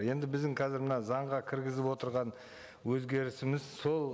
енді біздің қазір мына заңға кіргізіп отырған өзгерісіміз сол